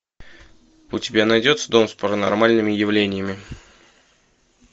у тебя найдется дом с паранормальными явлениями